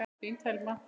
Þín Telma.